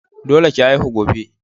Dole ki haihu gobe.